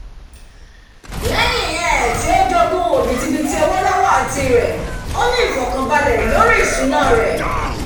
lẹ́yìn um tí ó jogún òbítibitì owó lọ́wọ́ àǹtí rẹ̀ ó ní ifọkanbalẹ lórí ìṣúná rẹ̀